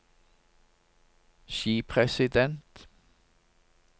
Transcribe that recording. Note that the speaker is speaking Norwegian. skipresident